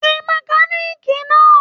Pe mẹ̀kániikí náà.